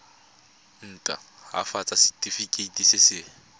nt hafatsa setefikeiti se se